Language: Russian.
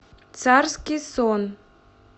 царский сон